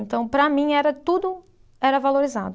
Então, para mim, era tudo, era valorizado.